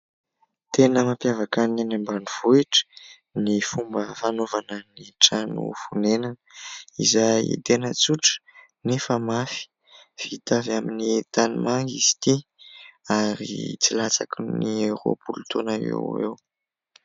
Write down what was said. Tena mampiavaka ny any ambanivohitra ny fomba fanaovana ny trano fonenana izay tena tsotra nefa mafy. Vita avy amin'ny tanimanga izy ity ary tsy latsaky ny roapolo taona eo ho eo.